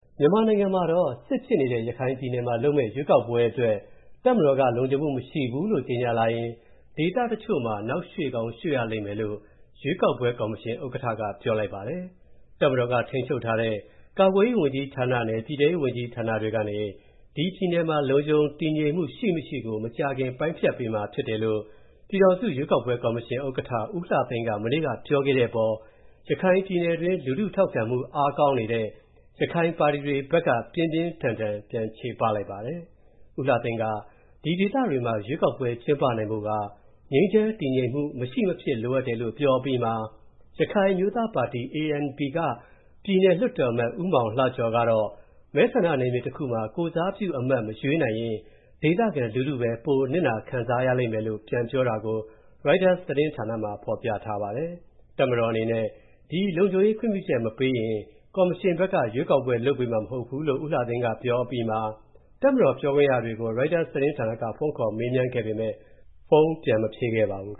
မြန်မာနိုင်ငံမှာတော့ စစ်ဖြစ်နေတဲ့ ရခိုင်ပြည်နယ်မှာလုပ်မယ့် ရွေးကောက်ပွဲအတွက် တပ်မတော်က လုံခြုံမူမရှိဘူးကြေညာလာရင်တော့၊ ဒေသတချို့မှာ နောက်ရွှေ့ကောင်းရွှေ့ရလိမ့်မယ်လို့၊ ရွေးကောက်ပွဲ ကော်မရှင် ဥက္ကဌက ပြောလိုက်ပါတယ်။ တပ်မတော်က ထိန်းချုပ်ထားတဲ့ ကာကွယ်ရေးဝန်ကြီးဌာနနဲ့ ပြည်ထဲရေးဝန်ကြီးဌာနတွေကနေ ဒီပြည်နယ်မှာ လုံခြုံတည်ငြိမ်မူ ရှိမရှိကို မကြာခင် ပိုင်းဖြတ်ပေးမှာဖြစ်တယ်လို့ ပြည်ထောင်စု ရွေးကောက်ပွဲ ကော်မရှင် ဥက္ကဌ ဦးလှသိန်းက မနေ့ကပြောခဲ့တဲ့ အပေါ်၊ ရခိုင်ပြည်နယ်တွင်း လူထုထောက်ခံမူအားကောင်းတဲ့ ရခိုင်ပါတီတွေဘက်က ပြင်းပြင်းထန်ထန် ပြန်ချေပလိုက်ပါတယ်။ ဦးလှသိန်းက ဒီဒေသတွေမှာ ရွေးကောက်ပွဲတွေ ကျင်းပနိုင်ဖို့က ငြိမ်းချမ်း တည်ငြိမ်မူ မရှိမဖြစ် လိုအပ်တယ်လို့ ပြောအပြီးမှာ ရခိုင် အမျိုးသားပါတီ (ANP) က ပြည်နယ်လွှတ်တော်အမတ် ဦးမောင်လှကျော်ကတော့၊ မဲဆန္ဒနယ်မြေတစ်ခုမှာ ကိုယ်စားပြုအမတ်မရွေးနိုင်လျှင် ဒေသခံလူထုပဲ ပိုခံစားနစ်နာလိမ့်မယ်လို့ ပြန်ပြောတာကို ရိုက်တာစ် သတင်းဌာနမှာ ဖော်ပြထားပါတယ်။ တပ်မတော်အနေနဲ့ ဒီလုံခြုံရေးခွင့်ပြုချက် မပေးရင်၊ ကော်မရှင်ဘက်က ရွေးကောက်ပွဲ လုပ်ပေးမှာ မဟုတ်ဘူးလို့ ဦးလှသိန်းကပြောအပြီးမှာ၊ တပ်မတော်ပြောခွင့်ရတွေကို ရိုက်တာ့စ်သတင်းဌာနက ဖုန်းခေါ်မေးမြန်းခဲ့ပေမဲ့ ဖုန်းပြန်မဖြေခဲ့ပါဘူး။